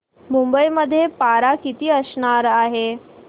मुंबई मध्ये पारा किती अंशावर आहे